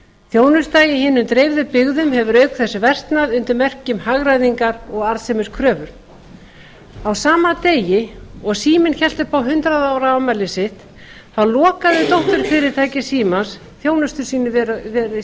þjónusta í hinum dreifðu byggðum hefur auk þess versnað undir merkjum hagræðingar og arðsemiskrafna á sama degi og síminn hélt upp á hundrað ára afmæli sitt lokaði dótturfyrirtæki símans þjónustu